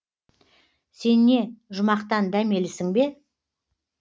сен не жұмақтан дәмелісің бе